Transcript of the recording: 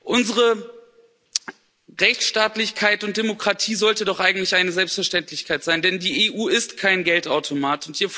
Unsere Rechtsstaatlichkeit und Demokratie sollte doch eigentlich eine Selbstverständlichkeit sein, denn die EU ist kein Geldautomat.